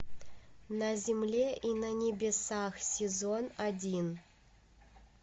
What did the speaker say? на земле и на небесах сезон один